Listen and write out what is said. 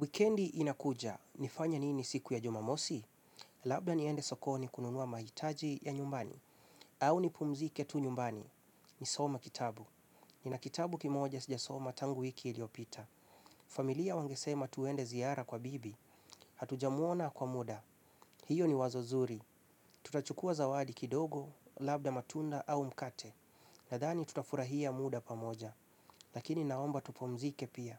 Wikendi inakuja, nifanye nini siku ya jumamosi? Labda niende sokoni kununua mahitaji ya nyumbani, au nipumzike tu nyumbani. Nisoma kitabu. Nina kitabu kimoja sijasoma tangu wiki iliopita. Familia wangesema tuende ziara kwa bibi, hatujamuona kwa muda. Hiyo ni wazo zuri. Tutachukua zawadi kidogo, labda matunda au mkate. Nadhani tutafurahia muda pamoja. Lakini naomba tupumzike pia.